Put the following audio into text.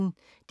DR P1